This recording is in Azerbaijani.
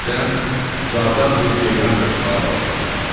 Birdən uzaqdan bir ceyran qaçmağa başladı.